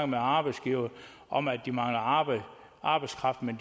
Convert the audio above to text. med arbejdsgivere om at de mangler arbejdskraft men